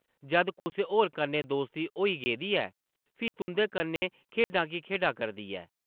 जद कुसै होर कन्नै दोस्ती होई गेदी ऐ, फ्ही तुंʼदे कन्नै खेढां की खेढा करदी ऐ?